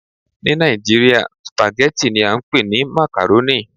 Ni Nigeria, spaghetti ni a npe ni macaroni